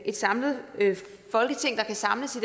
et samlet folketing der kan samles